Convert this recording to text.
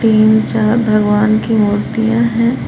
तीन चार भगवान की मूर्तियां हैं।